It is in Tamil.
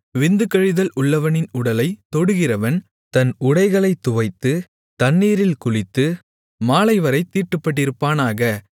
விந்து கழிதல் உள்ளவனின் உடலைத் தொடுகிறவன் தன் உடைகளைத் துவைத்து தண்ணீரில் குளித்து மாலைவரைத் தீட்டுப்பட்டிருப்பானாக